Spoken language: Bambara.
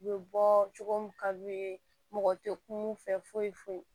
U bɛ bɔ cogo min ka d'u ye mɔgɔ tɛ kul'u fɛ foyi foyi